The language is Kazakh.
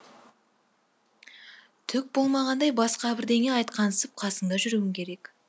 түк болмағандай басқа бірдеңе айтқансып қасында жүруің керек